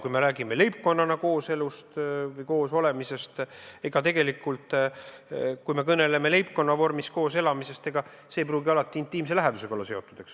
Kui me kõneleme leibkonnana kooselamisest, siis ega see ei pruugi alati intiimse lähedusega seotud olla.